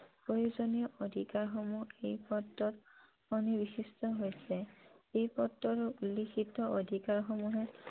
প্ৰয়োজনীয় অধিকাৰ সমূহ এই পত্ৰত সন্নিৱিষ্ট হৈছে । এই পত্ৰৰ লিখিত অধিকাৰ সমূহ